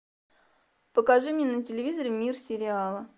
покажи мне на телевизоре мир сериала